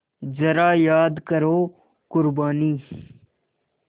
ज़रा याद करो क़ुरबानी